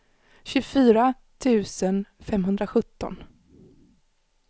tjugofyra tusen femhundrasjutton